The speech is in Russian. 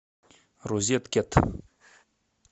розеткет